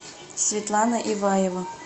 светлана иваева